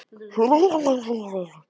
Sturlaugur, lækkaðu í hátalaranum.